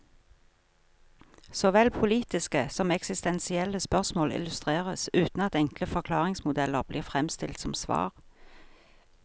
Såvel politiske som eksistensielle spørsmål illustreres, uten at enkle forklaringsmodeller blir fremstilt som svar.